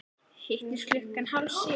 Hittumst klukkan hálf sjö.